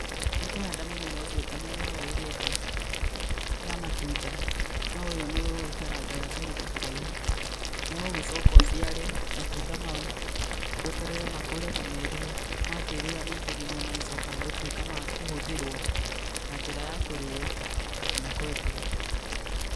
Ũkũhanda mũmera ũcio o ta mĩmera ĩrĩa ĩngĩ ya matunda no ũyũ nĩwĩikarangaga kahinda karaihu. Nĩũgũgĩcoka ũciare matunda mau, tweterere makũre na meruhe, makĩĩruha ningĩ nĩguo magĩcokaga gũtuĩka ma kũhũthĩrwo na njĩra ya kũrĩo kana kwendia.